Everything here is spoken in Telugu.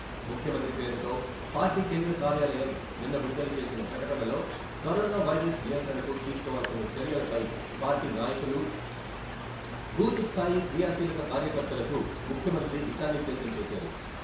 ముఖ్యమంత్రి పేరుతో పార్టీ కేంద్ర కార్యాలయం నిన్న విడుదల చేసిన ప్రకటనలో కరోనా వైరస్ నియంత్రణకు తీసుకోవాల్సిన చర్యలపై పార్టీ నాయకులు, బూత్ స్థాయి క్రియాశీలక కార్యకర్తలకు ముఖ్యమంత్రి దిశా నిర్దేశం చేశారు.